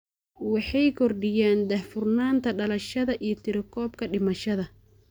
Waxay kordhiyaan daahfurnaanta dhalashada iyo tirakoobka dhimashada.